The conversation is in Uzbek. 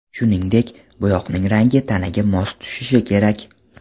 Shuningdek, bo‘yoqning rangi tanaga mos tushishi kerak.